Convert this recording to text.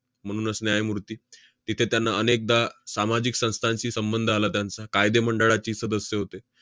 म्हणूनच न्यायमूर्ती. तिथे त्यांना अनेकदा सामाजिक संस्थांशी संबंध आला त्यांचा. कायदेमंडळाची सदस्य होते.